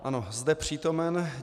Ano, zde přítomen.